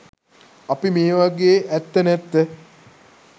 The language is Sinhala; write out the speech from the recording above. අපි මේවගේ ඇත්ත නැත්ත